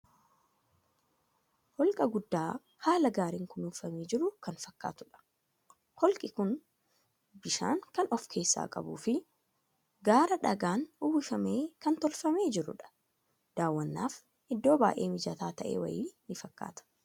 Holqa guddaa haala gaarin kunuunfamee jiru kan fakkaatudha. Holqi kuni bishaan kan of keessaa qabuu fii gaara dhagaan uwwifameen kan tolfamee jiruudha. Daawwannaaf iddoo baay'ee mijataa ta'e wayii ni fakkaata.